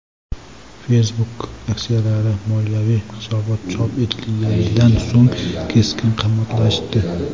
Facebook aksiyalari moliyaviy hisobot chop etilganidan so‘ng keskin qimmatlashdi.